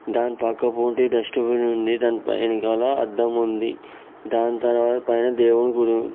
దాని పక్క పొంటి డస్ట్ బిన్ ఉంది. దానిపైన గల అద్దం ఉంది. దాని తర్వాత పైన దేవుని గుడి--